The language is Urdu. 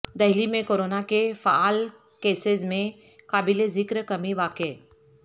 دہلی میں کورونا کے فعال کیسز میں قابل ذکر کمی واقع